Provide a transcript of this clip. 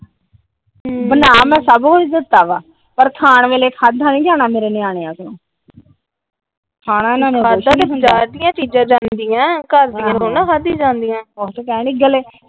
ਬਣਾ ਮੈ ਸੱਭ ਕੁੱਜ ਦਿੱਤਾ ਆ ਖਾਣ ਵੇਲੇ ਖਾਦਾਂ ਨੀ ਜਾਣਾ ਮੇਰੇ ਨਿਆਣੇ ਆ ਤੋਂ .। ਖਾਦੀਆ ਤਾ ਬਜ਼ਾਰ ਦੀਆ ਚੀਜ਼ਾਂ ਜਾਂਦੀਆਂ ਘਰ ਦੀਆ ਥੋੜੀ ਖਾਦੀਆ ਜਾਂਦੀਆਂ।